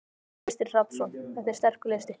Kristinn Hrafnsson: Þetta er sterkur listi?